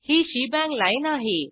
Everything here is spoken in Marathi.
ही शेबांग लाईन आहे